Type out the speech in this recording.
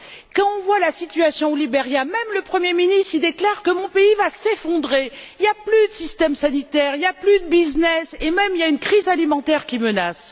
Lorsque nous voyons la situation au Liberia, même le premier ministre déclare mon pays va s'effondrer, il n'y a plus de système sanitaire, il n'y a plus de business et même il y a une crise alimentaire qui menace.